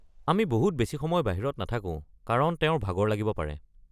আমি বহুত বেছি সময় বাহিৰত নাথাকো কাৰণ তেওঁৰ ভাগৰ লাগিব পাৰে।